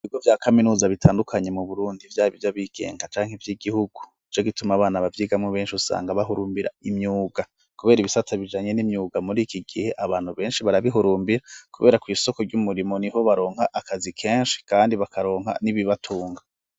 Ibigo vya kaminuza bitandukanye mu Burundi vyaba ivy'abigenga canke ivy'igihugu nico gituma abana bavyigamwo benshi usanga bahurumbira imyuga kubera ibisata bijanye n'imyuga muri iki gihe abantu benshi barabihurumbira kubera kw'isoko ry'umurimo niho baronka akazi kenshi kandi bakaronka n'ibibatunga.